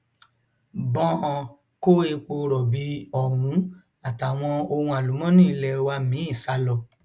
bọọn kó epo rọbì ọhún àtàwọn ohun àlùmọọnì ilé wa mìín sá lọ